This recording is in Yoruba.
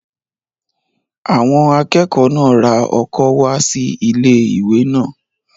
Àwọn akẹ́kọ̀ọ́ náà ra ọkọ́ wá sí ilé-ìwé náà